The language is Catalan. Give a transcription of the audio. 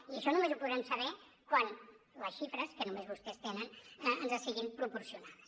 i això només ho podrem saber quan les xifres que només vostès tenen ens siguin proporcionades